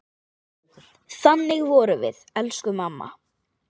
Þannig vorum við, elsku mamma.